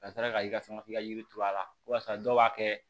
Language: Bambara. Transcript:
Ka sɔrɔ ka i ka sɔn k'i ka yiri turu a la walasa dɔw b'a kɛ